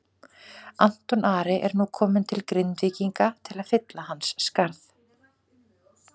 Anton Ari er nú kominn til Grindvíkinga til að fylla hans skarð.